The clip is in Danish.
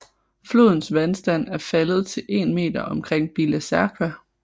Flodens vandstand er faldet til 1 meter omkring Bila Tserkva